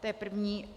To je první.